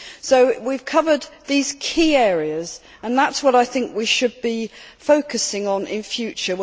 So we have covered these key areas, and these are what we should be focusing on in future.